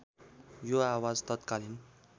यो आवाज तत्कालीन